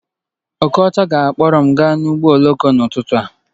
Okocha ga-akpọrọ m gaa ụgbọ oloko n'ụtụtụ